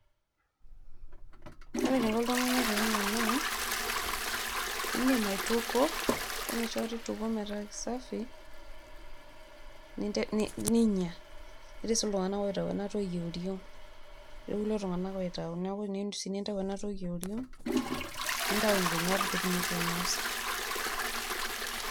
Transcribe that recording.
ore enaiko oltungani penya ena ,indim aitukuo ,ore enoshi kata indukuo metaa kisafi ninya .etii sii kulie tunganak oitayu ena toki eoriong niaku tiniyieu sii nintayu ena toki eoring nintayu nkinyat pitumoki ainosa .